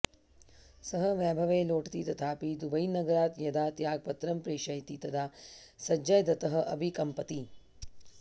सः वैभवे लोटति तथापि दुबईनगरात् यदा त्यागपत्रं प्रेषयति तदा सञ्जयदत्तः अपि कम्पति